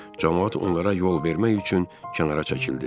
Camaat onlara yol vermək üçün kənara çəkildi.